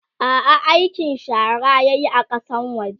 a'a aikin shara yayi a Kasan waje